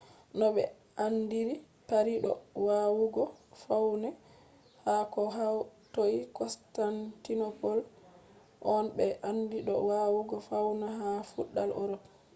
no ɓe andiri paris do wawugo faune ha ko hatoi constantinople on no ɓe andi do wawugo faune ha feudal europe